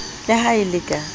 le ha e le ka